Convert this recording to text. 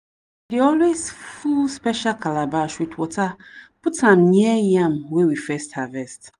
dey always full special calabash with water put am near yam wey we first harvest.